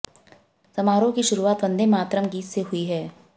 समारोह की शुरूआत वंदे मातरम गीत से हुई है